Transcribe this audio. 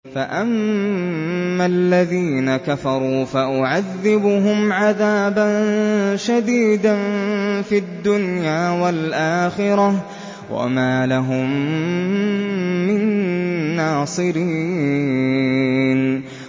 فَأَمَّا الَّذِينَ كَفَرُوا فَأُعَذِّبُهُمْ عَذَابًا شَدِيدًا فِي الدُّنْيَا وَالْآخِرَةِ وَمَا لَهُم مِّن نَّاصِرِينَ